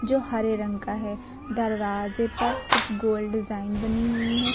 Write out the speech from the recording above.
जो हरे रंग का है दरवाजे पर कुछ गोल डिजाइन बनी हुई है।